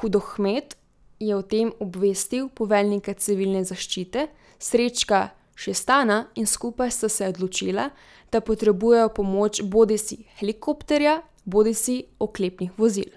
Hudohmet je o tem obvestil poveljnika civilne zaščite Srečka Šestana in skupaj sta se odločila, da potrebujejo pomoč bodisi helikopterja bodisi oklepnih vozil.